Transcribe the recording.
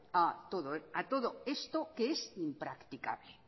a todo esto que es impracticable